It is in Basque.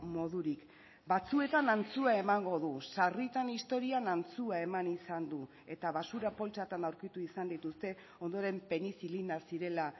modurik batzuetan antzua emango du sarritan historian antzua eman izan du eta basura poltsatan aurkitu izan dituzte ondoren penizilina zirela